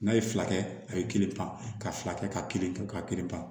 N'a ye fila kɛ a ye kelen pan ka fila kɛ ka kelen kɛ ka kiri ban